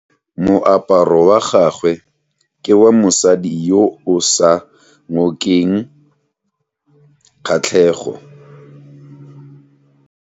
Moaparo wa gagwe ke wa mosadi yo o sa ngokeng kgatlhego.